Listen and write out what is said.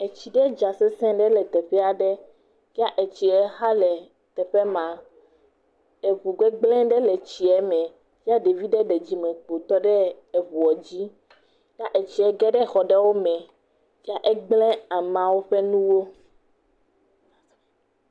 Etsi ɖe dza sesi ɖe le teƒe aɖe ya etsia xa ɖe teƒe ma, eŋu gbegblẽ ɖe etsie me, ye ɖevi ɖe ɖe dzimekpo tɔ ɖe eŋuɔ dzi, ya etsie ge ɖe exɔ ɖewo me ya egblẽ ameawo ƒe nuwo.